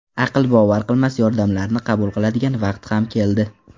Aql bovar qilmas yordamlarni qabul qiladigan vaqt ham keldi.